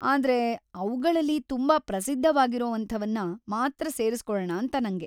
ಆದ್ರೆ, ಅವ್ಗಳಲ್ಲಿ ತುಂಬಾ ಪ್ರಸಿದ್ಧವಾಗಿರೋವಂಥವನ್ನ ಮಾತ್ರ ಸೇರ್ಸ್ಕೊಳಣ ಅಂತ ನಂಗೆ.